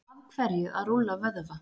af hverju að rúlla vöðva